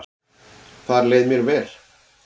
Þar leið mér vel